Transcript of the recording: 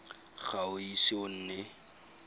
ga o ise o nne